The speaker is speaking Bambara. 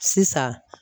Sisan